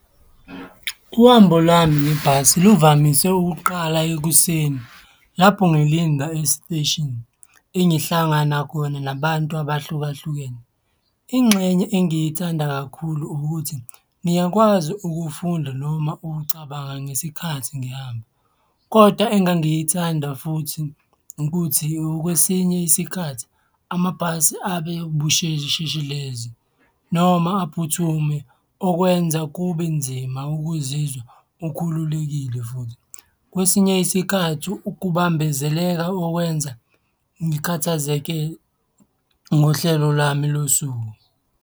Uhambo lwami ngebhasi luvamise ukuqala ekuseni, lapho ngilinda e-station engihlangana khona nabantu abahlukahlukene. Ingxenye engiyithanda kakhulu ukuthi, ngiyakwazi ukufunda noma ukucabanga ngesikhathi ngihamba kodwa engangiyithanda futhi ukuthi okwesinye isikhathi amabhasi abebushesheshelezi noma aphuthume, okwenza kube nzima ukuzizwa ukhululekile futhi, kwesinye isikhathi ukubambezeleka okwenza ngikhathazeke ngohlelo lwami losuku.